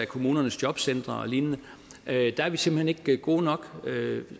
kommunernes jobcentre og lignende der er vi simpelt hen ikke gode nok